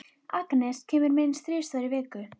Agnes kemur minnst þrisvar í viku.